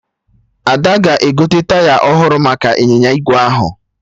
Ada ga-egote taya ọhụrụ maka ịnyịnya ígwè ahụ